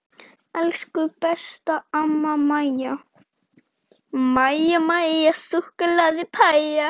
Elsku besta amma Maja.